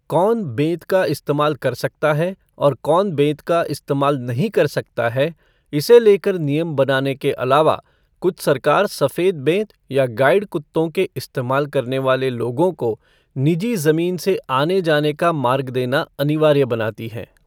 कौन बेंत का इस्तेमाल कर सकता है और कौन बेंत का इस्तेमाल नहीं कर सकता है, इसे लेकर नियम बनाने के अलावा कुछ सरकार सफ़ेद बेंत या गाइड कुत्तों के इस्तेमाल करने वाले लोगों को निजी ज़मीन से आने जाने का मार्ग देना अनिवार्य बनाती हैं।